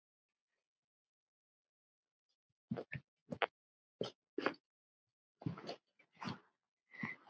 Þessi rotta!